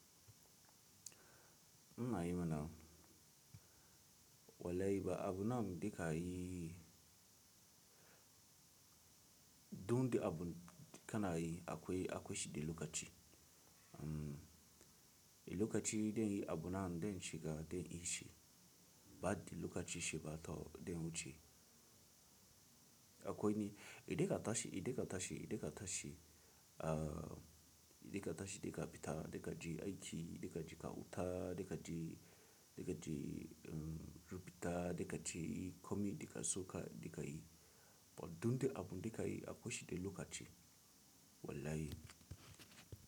Ina yi mana, wallahi ba abu nan dika yi, dun de abu kanayi, akwai, akwai shi de lokaci. Mm, lokaci dai abu nan dan shiga dai ishi, ba de lokaci shi ba to dai wuce. Akwai ni, idan ka tashi, idan ka tashi, idan ka tashi, ah idan ka tashi dai ka fita da ka je aiki, da ka je ka huta, da ka je, da ka je mm rubuta, da ka je yi komai dai ka so ka da ka yi. To dun de abu da ka yi akwai shi de lokaci, wallahi.